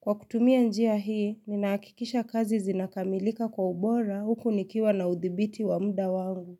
Kwa kutumia njia hii, ninahakikisha kazi zinakamilika kwa ubora huku nikiwa na udhibiti wa muda wangu.